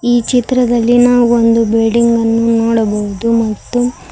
ಈ ಚಿತ್ರದಲ್ಲಿ ನಾವು ಒಂದು ಬಿಲ್ಡಿಂಗ್ ಅನ್ನು ನೋಡಬಹುದು ಮತ್ತು --